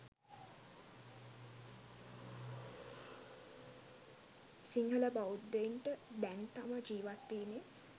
සිංහල බෞධයන්ට දැන්තම ජීවත්වීමේ